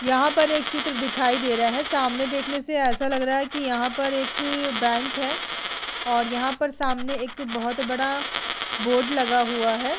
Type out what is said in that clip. यहाँ पर एक चित्र दिखाई दे रहा है सामने देखने से ऐसा लग रहा है की यहाँ पर एक बैंक है और यहाँ पर सामने एक बोहत बड़ा बोर्ड लगा हुआ है।